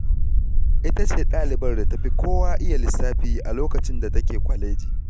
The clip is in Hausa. Ita ce ɗalibar da ta fi kowa iya lissafi a lokacin da take kwaleji.